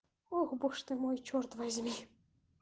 ох боже ты мой чёрт возьми